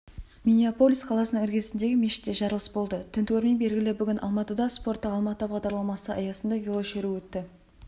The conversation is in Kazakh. миннеаполис қаласының іргесіндегі мешітте жарылыс болды тінтуірмен белгіл бүгін алматыда спорттық алматы бағдарламасы аясында велошеру өтті